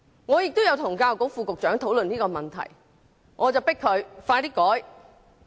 我亦曾與教育局副局長討論這個問題，促請他盡快作出改革。